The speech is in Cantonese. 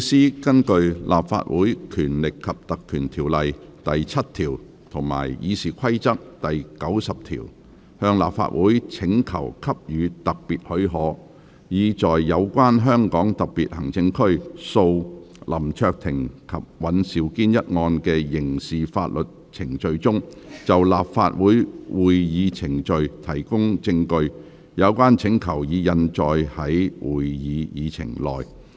律政司根據《立法會條例》第7條及《議事規則》第90條，向立法會請求給予特別許可，以在有關香港特別行政區訴林卓廷及尹兆堅一案的刑事法律程序中，就立法會會議程序提供證據。有關請求已印載於會議議程內。